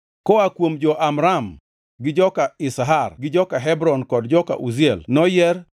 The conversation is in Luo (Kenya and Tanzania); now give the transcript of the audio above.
Koa kuom jo-Amram, gi joka Izhar gi joka Hebron kod joka Uziel noyier,